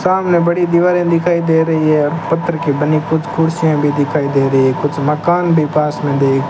सामने बड़ी दीवारें दिखाई दे रही है पत्थर की बनी कुछ कुर्सियां भी दिखाई दे रही है कुछ मकान भी पास में देख --